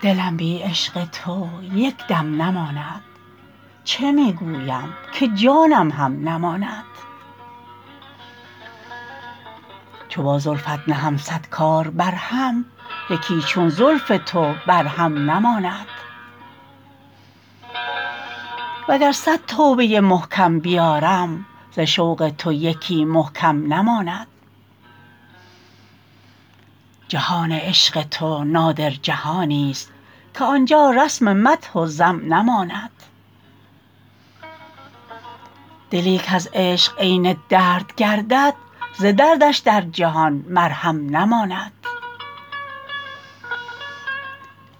دلم بی عشق تو یک دم نماند چه می گویم که جانم هم نماند چو با زلفت نهم صد کار برهم یکی چون زلف تو بر هم نماند واگر صد توبه محکم بیارم ز شوق تو یکی محکم نماند جهان عشق تو نادر جهانی است که آنجا رسم مدح و ذم نماند دلی کز عشق عین درد گردد ز دردش در جهان مرهم نماند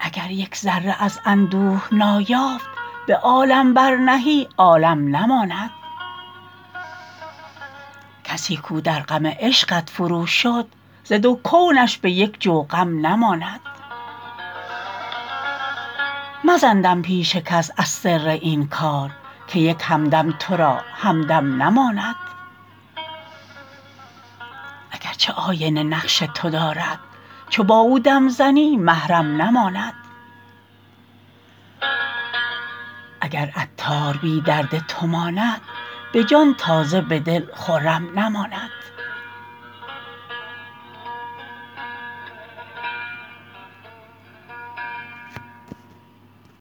اگر یگ ذره از اندوه نایافت به عالم برنهی عالم نماند کسی کو در غم عشقت فرو شد ز دو کونش به یک جو غم نماند مزن دم پیش کس از سر این کار که یک دم هم تو را همدم نماند اگرچه آینه نقش تو دارد چو با او دم زنی محرم نماند اگر عطار بی درد تو ماند به جان تازه به دل خرم نماند